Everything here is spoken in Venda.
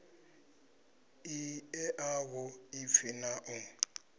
i ṋea vhuḓipfi na u